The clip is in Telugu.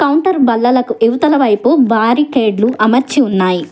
కౌంటరు బల్లలకు ఇవతలవైపు భారీ కేడ్లు అమర్చి ఉన్నాయి.